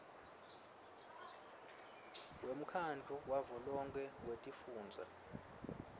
wemkhandlu wavelonkhe wetifundza